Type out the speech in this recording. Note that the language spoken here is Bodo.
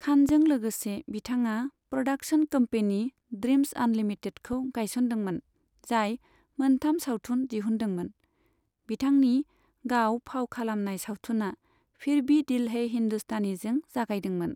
खानजों लोगोसे, बिथाङा प्रडाक्शन कम्पेनी ड्रीम्ज आनलिमिटेडखौ गायसनदोंमोन, जाय मोनथाम सावथुन दिहुनदोंमोन, बिथांनि गाव फाव खालामनाय सावथुना 'फिर भी दिल है हिंदुस्तानी'जों जागायदोंमोन।